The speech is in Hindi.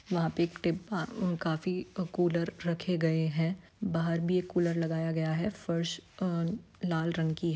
वहाँ पे एक टे आ काफी कूलर रखें गए हैं बाहर भी एक कूलर लगाया गया है फर्श अ लाल रंग की है।